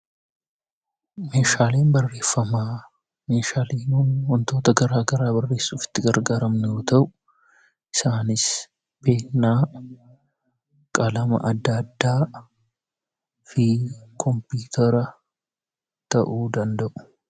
Meeshaaleen barreeffamaa meeshaalee wantoota gara garaa ittiin barreessuuf itti gargaaramnu yoo ta’u, isaanis Peennaa, qalama adda addaa, fi kompiitara ta'uu ni danda'u.